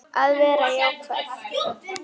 Að vera jákvæð.